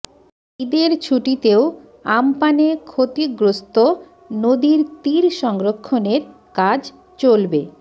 ঈদের ছুটিতেও আম্পানে ক্ষতিগ্রস্ত নদীর তীর সংরক্ষণের কাজ চলবে